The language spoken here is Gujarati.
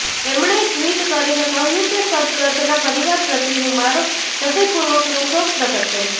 એમણે ટ્વીટ કરીને કહ્યું કે સદ્દગતના પરિવાર પ્રતિ હું મારો હૃદયપૂર્વકનો શોક પ્રગટ કરું છું